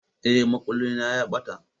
Eh, makullin na ya ɓata